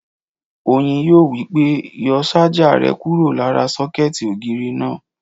Oyin yóò wí pé "yọ sájà rẹ kúrò lára sọ́kẹ̀tì ògiri náà!"